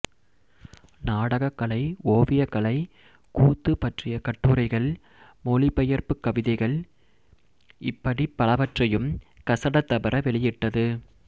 நாடகக்கலை ஓவியக்கலை கூத்து பற்றிய கட்டுரைகள் மொழிபெயர்ப்புக் கவிதைகள் இப்படிப் பலவற்றையும் கசட தபற வெளியிட்டது